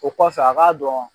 O kɔfɛ a k'a dɔn